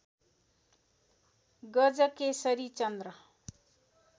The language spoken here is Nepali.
गजकेशरी चन्द्र